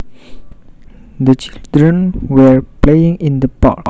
The children were playing in the park